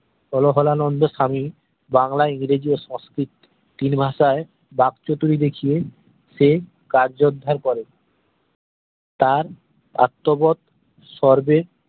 হলহলানন্দো স্বামী বাংলা ইংরেজি ও সংস্কৃত তিন ভাষায় বাঁক চতুরী দেখিয়ে সে কার্য উদ্ধার করে তার আত্ম বোধ সর্বে